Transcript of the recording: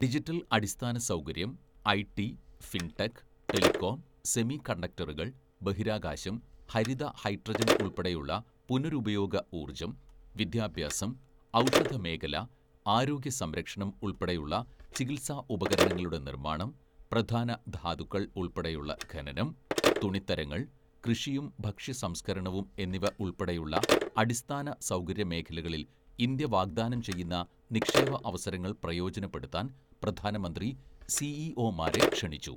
Digital അടിസ്ഥാനസൗകര്യം, IT, fintech, telecom, സെമികണ്ടക്ടറുകൾ, ബഹിരാകാശം, ഹരിത ഹൈഡ്രജൻ ഉൾപ്പെടെയുള്ള പുനരുപയോഗ ഊർജം, വിദ്യാഭ്യാസം, ഔഷധമേഖല, ആരോഗ്യസംരക്ഷണം ഉൾപ്പെടെയുള്ള ചികിത്സാ ഉപകരണങ്ങളുടെ നിർമാണം, പ്രധാന ധാതുക്കൾ ഉൾപ്പെടെയുള്ള ഖനനം, തുണിത്തരങ്ങൾ, കൃഷിയും ഭക്ഷ്യ സംസ്കരണവും എന്നിവ ഉൾപ്പെടെയുളള അടിസ്ഥാനസൗകര്യ മേഖലകളിൽ ഇന്ത്യ വാഗ്ദാനം ചെയ്യുന്ന നിക്ഷേപ അവസരങ്ങൾ പ്രയോജനപ്പെടുത്താൻ പ്രധാനമന്ത്രി സിഇഒമാരെ ക്ഷണിച്ചു.